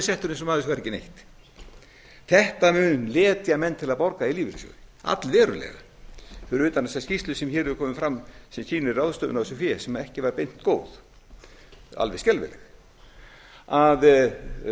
settur eins og maður sem fær ekki neitt þetta mun letja menn til að borga í lífeyrissjóði allverulega fyrir utan þessa skýrslu sem hér hefur komið fram sem sýnir ráðstöfun á þessu fé sem ekki var beint góð alveg skelfileg